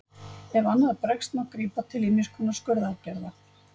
Ef annað bregst má grípa til ýmiss konar skurðaðgerða.